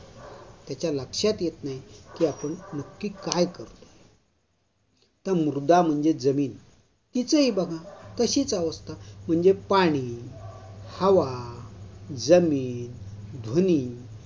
त्याच्या लक्षात येत नाही की आपण नक्की काय करतोय. तर मृदा म्हणजे जमीन तिचंही बघा तशीच अवस्था म्हणजे पाणी, हवा, जमीन, ध्वनि